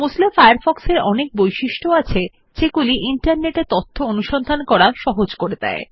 Mozilla Firefox এর অনেক বৈশিষ্ট্য আছে যেগুলি ইন্টারনেটএ তথ্য অনুসন্ধান করা সহজ করে দেয়